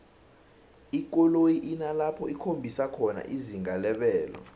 ikoloyi inalapho ikhombisa khona izinga lebelo